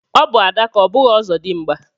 Ọbụ adaka ọ bụghị ọzọdimgba